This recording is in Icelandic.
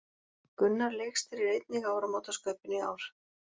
Gunnar leikstýrir einnig áramótaskaupinu í ár